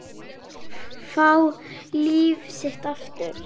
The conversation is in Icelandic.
Fá líf sitt aftur.